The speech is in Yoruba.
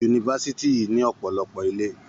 Yunifásitì yìí ní ọ̀pọ̀lọpọ̀ ilé.